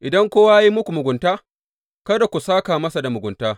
Idan kowa ya yi muku mugunta, kada ku sāka masa da mugunta.